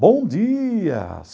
Bom dia!